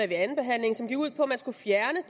ved anden behandling som gik ud på at man skulle fjerne